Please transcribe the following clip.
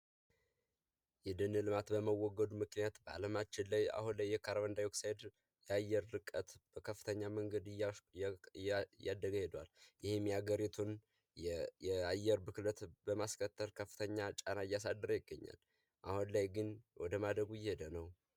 የደን ልማት በመወገዱ ምክንያት አለማችን ላይ አሁን ላይ ካረብንዳይ ኦክሳይጥ ልቀት በአለም ላይ በጣም ይህም የሀገሪቱን የአየር ብክነት በማስከተል ከፍተኛ ጫና እያሳደረ ይገኛል። አሁን ላይ ግን ወደማደጉ እየሄደ ነው።